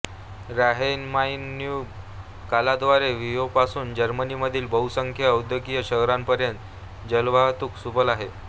ऱ्हाईनमाइनडॅन्यूब कालव्याद्वारे व्हियेनापासून जर्मनीमधील बहुसंख्य औद्योगिक शहरांपर्यंत जलवाहतूक सुलभ आहे